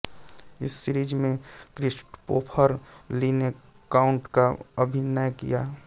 इस सीरिज़ में Christopher Lee ने काउंट का अभिनय किया